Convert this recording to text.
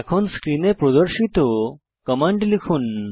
এখন স্ক্রিনে প্রদর্শিত কমান্ড লিখুন